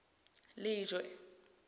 lejwe